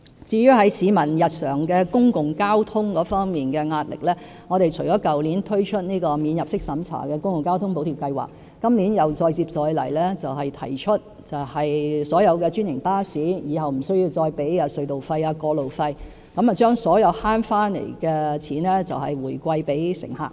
至於市民在日常公共交通費用方面的壓力，我們除了去年推出"免入息審查的公共交通費用補貼計劃"，我們今年再接再厲提出豁免所有專營巴士使用隧道和道路的費用，把所有節省下來的金錢回饋乘客。